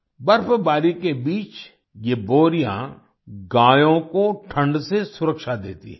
बर्फबारी के बीच ये बोरियाँ गायों को ठंड से सुरक्षा देती हैं